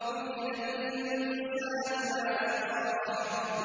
قُتِلَ الْإِنسَانُ مَا أَكْفَرَهُ